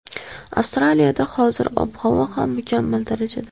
Avstraliyada hozir ob-havo ham mukammal darajada”.